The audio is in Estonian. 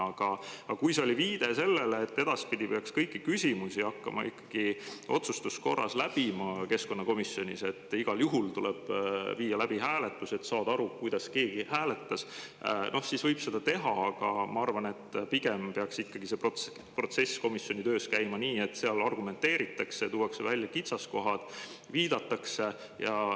Aga kui see oli viide sellele, et edaspidi peaks keskkonnakomisjonis kõiki küsimusi hakkama ikkagi läbima otsustuskorras ja igal juhul tuleks viia läbi hääletus, et, kuidas keegi hääletas, siis võib seda teha, aga ma arvan, et pigem peaks ikkagi see protsess komisjoni töös käima nii, et seal argumenteeritakse, tuuakse välja kitsaskohad, viidatakse.